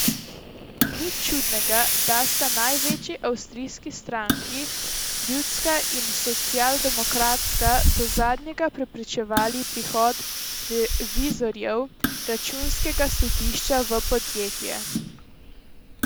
Nič čudnega, da sta največji avstrijski stranki, ljudska in socialdemokratska, do zadnjega preprečevali prihod revizorjev računskega sodišča v podjetje.